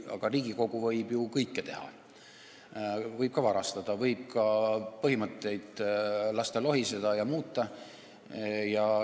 Aga Riigikogu võib ju kõike teha, võib ka varastada, võib lasta põhimõtetel lohiseda ja neid muuta.